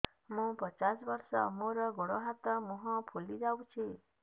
ମୁ ପଚାଶ ବର୍ଷ ମୋର ଗୋଡ ହାତ ମୁହଁ ଫୁଲି ଯାଉଛି